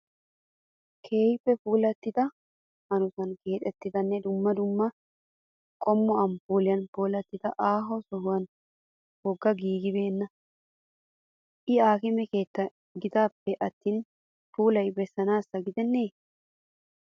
Keehippe puulattida hanotan keexettidanne dumma dumma qommo amppuuliyan puulattida ha sohoyi woga giigibeenna. I aakime keetta gidaappe attin puulaa bessanaassa gidenna.